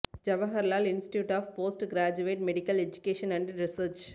Jawaharlal institute of post graduate medical education and research